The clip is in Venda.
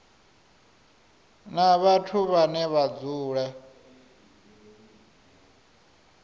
na vhathu vhane vha dzula